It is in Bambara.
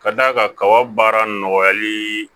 Ka d'a kan kaba baara nɔgɔyali